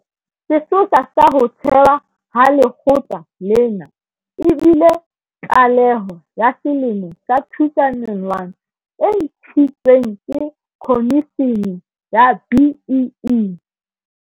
Sesosa sa ho thewa ha lekgotla lena e bile tlaleho ya selemo sa 2001 e ntshitsweng ke Khomishene ya BEE.